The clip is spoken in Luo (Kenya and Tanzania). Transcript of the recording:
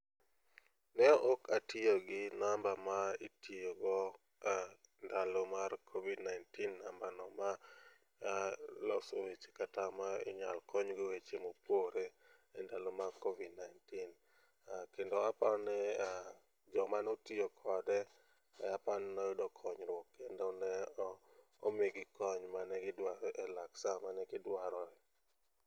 ne ok atiyo gi namba ma itiyo go ndalo mar covid 19 namba maloso weche kata ma inyalo kony go weche mopore kendo aparo ni joma notiyo kode aparo ni noyudo konyruok kendo ne omigi kony mane gidwaro e lak sa mane gidwaroe.